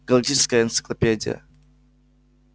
галактическая энциклопедия